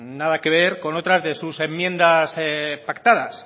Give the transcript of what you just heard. nada que ver con otras de sus enmiendas pactadas